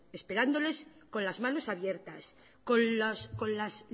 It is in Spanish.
esperándoles con las manos abiertas con las